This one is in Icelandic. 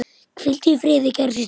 Hvíldu í friði, kæra systir.